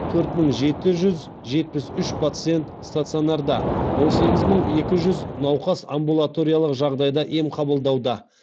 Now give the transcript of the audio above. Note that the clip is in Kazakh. төрт мың жеті жүз жетпіс үш пациент стационарда он сегіз мың екі жүз науқас амбулаториялық жағдайда ем қабылдауда